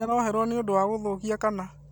Nĩaroheirwo nĩũndũwa gũthũkia kana?